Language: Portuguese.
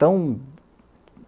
tão